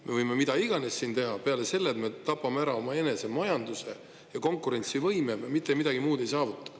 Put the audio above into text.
Me võime mida iganes siin teha, aga peale selle, et me tapame ära omaenese majanduse ja konkurentsivõime, me mitte midagi muud ei saavuta.